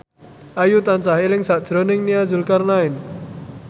Ayu tansah eling sakjroning Nia Zulkarnaen